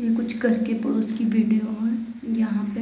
यहां कुछ घर के पुरुष की बैठे है। यहां पे